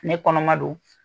Ne kɔnɔma don